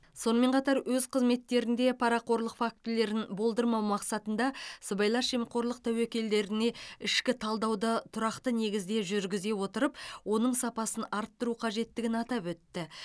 сонымен қатар өз қызметтерінде парақорлық фактілерін болдырмау мақсатында сыбайлас жемқорлық тәуекелдеріне ішкі талдауды тұрақты негізде жүргізе отырып оның сапасын арттыру қажеттігін атап өтті